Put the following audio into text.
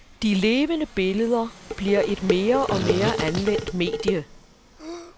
De levende billeder bliver et mere og mere anvendt medie.